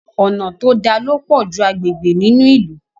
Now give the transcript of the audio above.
Ọnà to dá ló pojú agbègbè nínú ilú.